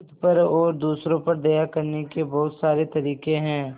खुद पर और दूसरों पर दया करने के बहुत सारे तरीके हैं